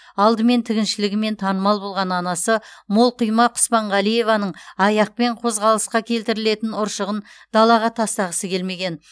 алдымен тігіншілігімен танымал болған анасы молқұйма құспанғалиеваның аяқпен қозғалысқа келтірілетін ұршығын далаға тастағысы келмеген